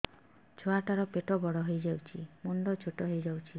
ଛୁଆ ଟା ର ପେଟ ବଡ ହେଇଯାଉଛି ମୁଣ୍ଡ ଛୋଟ ହେଇଯାଉଛି